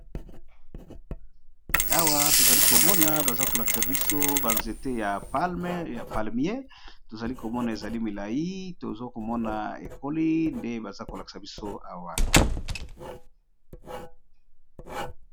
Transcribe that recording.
Awa tozali komona, baza kolakisa biso ba nzete ya palmier. Tozali komona ezali milai ! tozo komona ekoli ! Ndembo baza kolakisa biso awa.